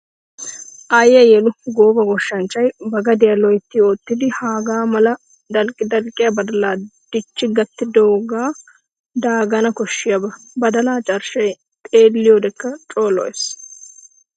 Aayiya yelu! Gooba goshshachchay ba gadiya loytti oottiddi hagaa mala dalqqi dalqqiya badala dichi gattidooge daagana koshiyaaba. Badalla carshshay xeelliyodekka coo lo'ees.